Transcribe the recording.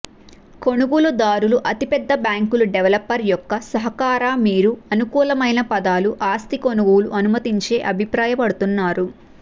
కొనుగోలుదారులు అతిపెద్ద బ్యాంకులు డెవలపర్ యొక్క సహకార మీరు అనుకూలమైన పదాలు ఆస్తి కొనుగోలు అనుమతించే అభిప్రాయపడుతున్నారు